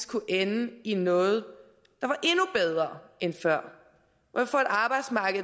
kunne ende i noget der